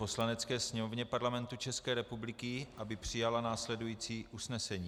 Poslanecké sněmovně Parlamentu České republiky, aby přijala následující usnesení: